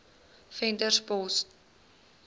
venterspost